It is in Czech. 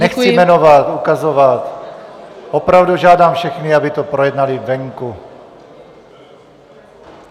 Nechci jmenovat, ukazovat - opravdu žádám všechny, aby to projednali venku!